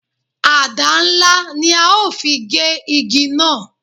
Àdá ńlá ni a ó fi gé ìdí náà